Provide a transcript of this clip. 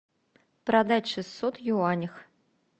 продать шестьсот юанях